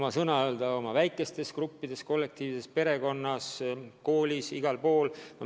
Me saame palju ära teha oma väikestes gruppides, oma kollektiivis, perekonnas, koolis – igal pool.